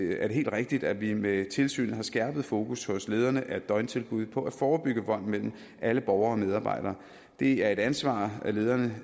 er det helt rigtigt at vi med tilsynet har skærpet fokus hos lederne af døgntilbud på at forebygge vold mellem alle borgere og medarbejdere det er et ansvar lederne